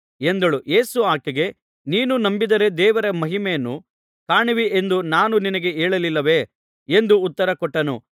ಯೇಸು ಆಕೆಗೆ ನೀನು ನಂಬಿದರೆ ದೇವರ ಮಹಿಮೆಯನ್ನು ಕಾಣುವಿ ಎಂದು ನಾನು ನಿನಗೆ ಹೇಳಲಿಲ್ಲವೇ ಎಂದು ಉತ್ತರ ಕೊಟ್ಟನು